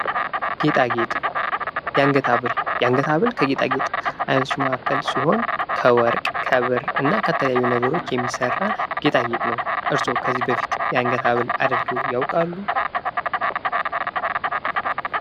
ጌጣጌጥ ፦ የአንገት ሀብል ፦ የአንገት ሀብል ከጌጣጌጥ አይነቶች መካከል ሲሆን ከወርቅ ፣ ከብር እና ከየተለያዩ ነገሮች የሚሠራ ጌጣጌጥ ነው ። እርሶ ከዚህ በፊት የአንገት ሀብል አድርገው ያውቃሉ ?